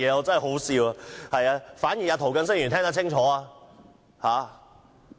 真可笑，反而涂謹申議員聽得清楚。